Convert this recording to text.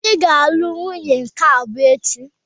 Obi ga-alụ nwunye nke abụọ echi.